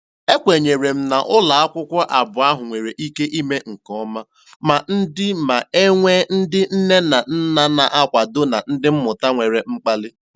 E kwenyere m na ụlọakwụkwọ abụọ ahụ nwere ike ime nke ọma ma ndị ma e nwee ndị nne na nna na-akwado na ndị mmụta nwere mkpali.